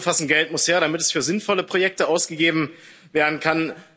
Um es kurz zu fassen Geld muss her, damit es für sinnvolle Projekte ausgegeben werden kann.